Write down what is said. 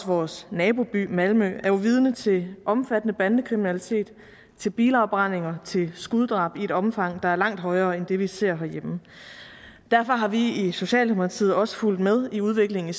vores naboby malmø er jo vidne til omfattende bandekriminalitet til bilafbrændinger til skuddrab i et omfang der er langt højere end det vi ser herhjemme derfor har vi i socialdemokratiet også fulgt med i udviklingen i